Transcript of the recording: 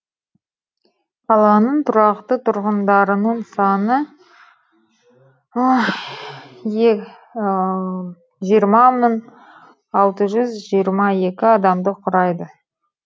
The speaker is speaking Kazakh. қаланың тұрақты тұрғындарының саны жиырма мың алты жүз жиырма екі адамды құрайды